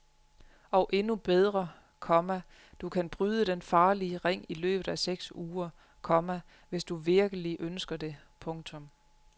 Og endnu bedre, komma du kan bryde den farlige ring i løbet af seks uger, komma hvis du virkelig ønsker det. punktum